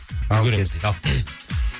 үлгереміз дейді ал